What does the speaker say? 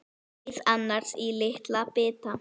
Skerið ananas í litla bita.